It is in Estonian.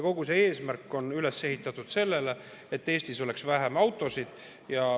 Kogu see arengukava on üles ehitatud sellele, et Eestis oleks vähem autosid.